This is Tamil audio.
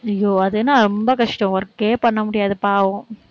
ஐயோ, அதுன்னா ரொம்ப கஷ்டம் work ஏ பண்ண முடியாது, பாவம்.